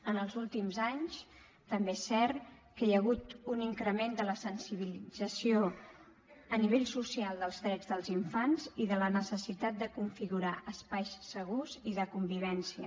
en els últims anys també és cert que hi ha hagut un increment de la sensibilització a nivell social dels drets dels infants i de la necessitat de configurar espais segurs i de convivència